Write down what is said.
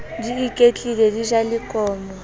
di iketlile di ja lekomo